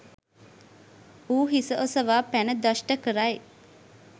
ඌ හිස ඔසවා පැන දෂ්ට කරයි.